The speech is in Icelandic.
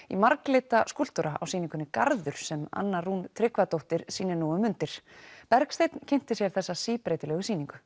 í marglita skúlptúra á sýningunni Garður sem Anna Rún Tryggvadóttir sýnir nú um mundir Bergsteinn kynnti sér þessa síbreytilegu sýningu